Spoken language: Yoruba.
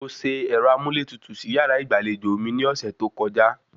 Mo se ẹ̀rọ amúlétutù sí yàrá ìgbàlejò mi ní ọ̀sẹ̀ tó kọjá